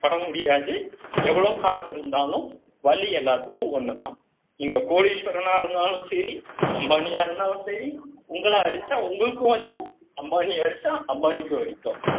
பட முடியாது. எவ்வளவு காசு இருந்தாலும், வலி எல்லாத்துக்கும் ஒண்ணுதான். நீங்க கோடீஸ்வரனா இருந்தாலும் சரி, அம்பானியா இருந்தாலும் சரி, உங்களை அடிச்சா, உங்களுக்கும் வலிக்கும். அம்பானியை அடிச்சா, அம்பானிக்கும் வலிக்கும்